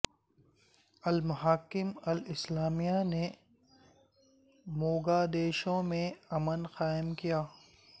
المحاکم الاسلامیہ نے موگادیشو میں امن قائم کیا ہے